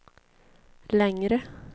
längre